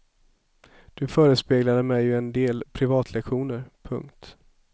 Du förespeglade mig ju en del privatlektioner. punkt